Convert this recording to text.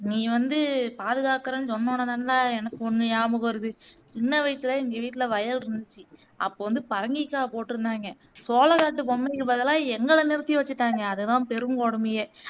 நீ வந்து பாதுகாக்குறேன்னு சொன்னோனேதான்லே எனக்கு ஒன்னு நியாபகம் வருது சின்ன வயசுல எங்க வீட்டுல வயல் இருந்துச்சு அப்போ வந்து பரங்கிக்காய் போட்டிருந்தாங்கே சோளக்காட்டு பொம்மைக்கு பதிலா எங்கள நிறுத்தி வச்சுட்டாங்கே அதுதான் பெருங்கொடுமையே